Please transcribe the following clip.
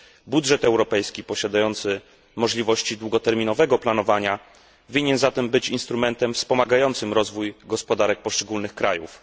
Budżet europejski posiadający możliwości długoterminowego planowania powinien zatem być instrumentem wspomagającym rozwój gospodarek poszczególnych krajów.